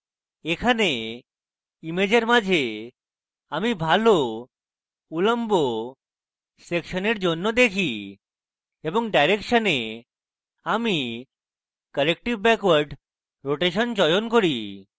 এখানে ইমেজের মাঝে আমি ভালো উল্লম্ব সেকশনের জন্য দেখি এবং direction a আমি corrective backward rotation চয়ন করি